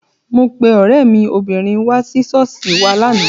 Mo pe ọ̀rẹ́ mi obìnrin wá sí ṣọ́ọ̀ṣì wa lánàá.